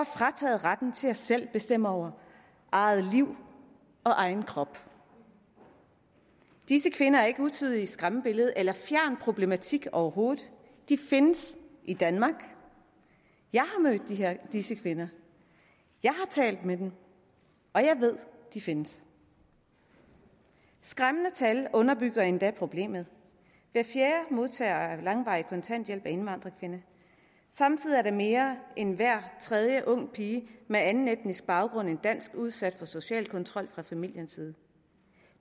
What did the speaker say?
frataget retten til selv at bestemme over eget liv og egen krop disse kvinder er ikke utydelige skræmmebilleder eller en fjern problematik overhovedet de findes i danmark jeg har mødt disse kvinder jeg har talt med dem og jeg ved at de findes skræmmende tal underbygger endda problemet hver fjerde modtager af langvarig kontanthjælp er indvandrerkvinde samtidig er mere end hver tredje unge pige med anden etnisk baggrund end dansk udsat for social kontrol fra familiens side